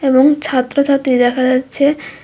এবং ছাত্র ছাত্রী দেখা যাচ্ছে।